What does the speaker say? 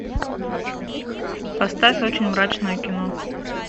поставь очень мрачное кино